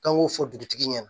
K'an k'o fɔ dugutigi ɲɛna